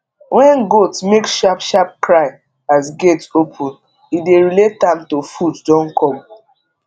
wen goat make sharp sharp cry as gate open e dey relate am to food don come